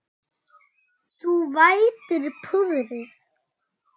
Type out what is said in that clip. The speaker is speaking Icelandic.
Þú vætir púðrið.